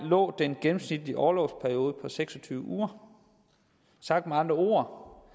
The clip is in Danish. lå den gennemsnitlige orlovsperiode på seks og tyve uger sagt med andre ord